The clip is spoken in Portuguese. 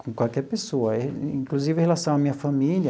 Com qualquer pessoa, inclusive em relação à minha família,